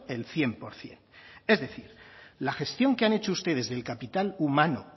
el cien por ciento es decir la gestión que han hecho ustedes del capital humano